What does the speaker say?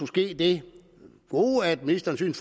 ske det gode at ministeren